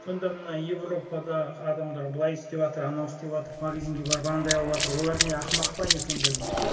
сонда мына европадағы адамдар былай істеватыр анау істеватыр магазинге барып анандай алыватыр олар не ақымақ па не сонда дейді